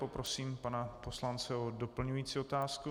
Poprosím pana poslance o doplňující otázku.